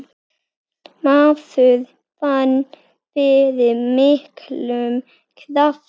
Maður fann fyrir miklum krafti.